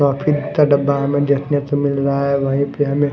डब्बा हमें देखने को मिल रहा है वहीं पे हमें--